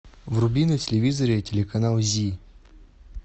вруби на телевизоре телеканал зи